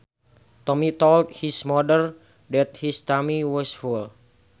Tommy told his mother that his tummy was full